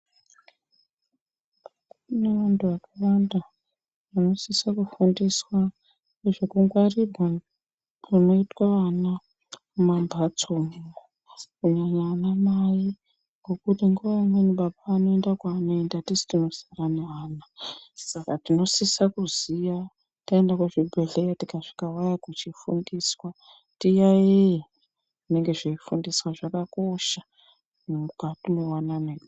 Kune vantu vakawanda vanosisa kufundiswa nezvekungwarirwa kunoitwa ana mumambatso umu. Kunyanya vanamai ngekuti nguwa imweni baba anoenda kwaanoinda tisu tinosara naana. Saka tinosisa kuziya taenda kuzvibhedhleya tikasvika weya kuchifundiswa tiyaiye zvinenge zveifundiswa, zvakakosha mukati mewanano.